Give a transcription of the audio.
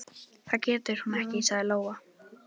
Það getur hún ekki, sagði Lóa.